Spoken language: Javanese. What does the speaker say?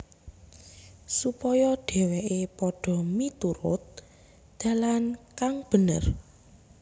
Supaya dhèwèké padha miturut dalan kang bener